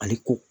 Ale ko